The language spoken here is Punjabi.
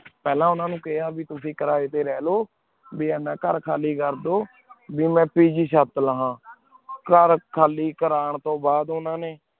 ਪਹਨਾ ਉਨਾਨੀ ਕਿਹਾ ਤੁਸੀਂ ਕਰਾਤੀ ਰਹ੍ਲੋ ਬੀ ਏਨਾ ਕਰ ਖਾਲੀ ਕੇਰ ਦੋ ਕੀ ਮਨ ਚਾਟ ਲੌਵ੍ਨ ਕਰ ਖਾਲੀ ਕਰਨ ਤੂੰ ਬਾਦ ਉਨਾ ਨੀ